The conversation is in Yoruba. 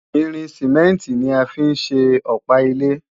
Irin Sìmẹ́ǹtì ni a fi ń ṣe Ọ̀pá ilé